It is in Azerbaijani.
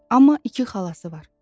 Amma iki xalası var.